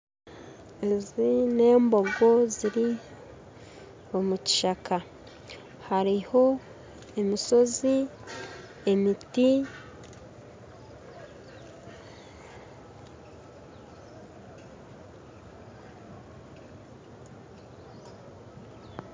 Ezi n'embogo ziri omu kishaaka hariho emisozi, emiti